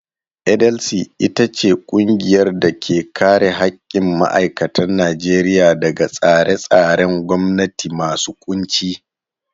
NLC ita ce ƙungiyar da ke kare haƙƙin ma'aikatan Najeriya daga tsare-tsaren gwamnati masu ƙunci.